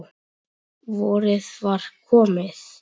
Vorið var komið.